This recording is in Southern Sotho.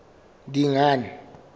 dingane